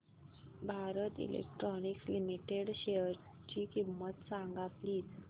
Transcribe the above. Bharat electronics limited शेअरची किंमत सांगा प्लीज